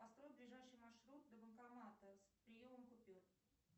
построй ближайший маршрут до банкомата с приемом купюр